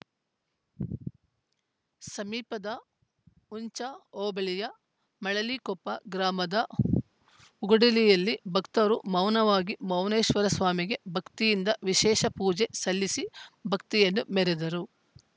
ಸಮೀಪದ ಹುಂಚಾ ಹೋಬಳಿಯ ಮಳಲಿಕೊಪ್ಪ ಗ್ರಾಮದ ಹುಗುಡಿಯಲ್ಲಿ ಭಕ್ತರು ಮೌನವಾಗಿ ಮೌನೇಶ್ವರಸ್ವಾಮಿಗೆ ಭಕ್ತಿಯಿಂದ ವಿಶೇಷ ಪೂಜೆ ಸಲ್ಲಿಸಿ ಭಕ್ತಿಯನ್ನು ಮೆರೆದರು